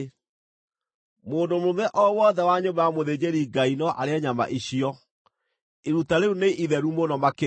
Mũndũ mũrũme o wothe wa nyũmba ya mũthĩnjĩri-Ngai no arĩe nyama icio; iruta rĩu nĩ itheru mũno makĩria.